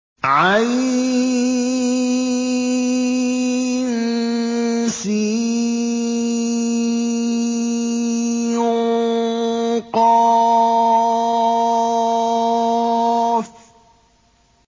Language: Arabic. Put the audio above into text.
عسق